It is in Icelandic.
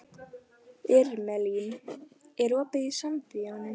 Irmelín, er opið í Sambíóunum?